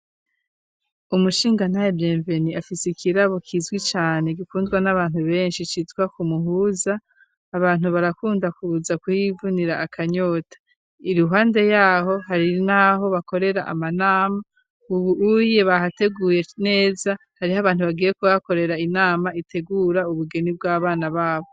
Umushingantahe yitwa bienvenue afise ikirabo kizwi cyane gikundwa n'abantu benshi citwa kumuhuza abantu barakunda kuza kuyivunira akanyota iruhande yaho hari n'aho bakorera amanama ubuye bahateguye neza hariho abantu bagiye ko bakorera inama itegura ubugeni bw'abana babo.